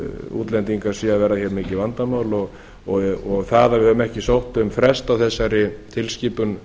útlendingar séu að verða hér mikið vandamál og það að við höfum ekki sótt um frest á þessari tilskipun